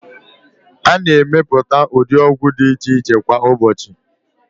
A na-emepụta ụdị ọgwụ dị iche iche kwa ụbọọchị.